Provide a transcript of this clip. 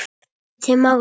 Kemur ekki til mála!